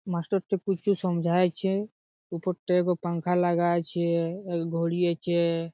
মাস্টারটা কিছু সামঝাইছে। উপরটাই এগো পাংখা লাগা আছে। এগো ঘড়ি আছে।